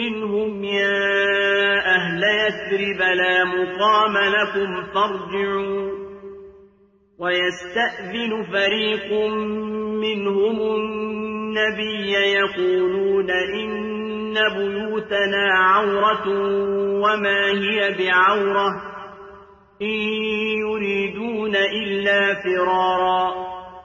مِّنْهُمْ يَا أَهْلَ يَثْرِبَ لَا مُقَامَ لَكُمْ فَارْجِعُوا ۚ وَيَسْتَأْذِنُ فَرِيقٌ مِّنْهُمُ النَّبِيَّ يَقُولُونَ إِنَّ بُيُوتَنَا عَوْرَةٌ وَمَا هِيَ بِعَوْرَةٍ ۖ إِن يُرِيدُونَ إِلَّا فِرَارًا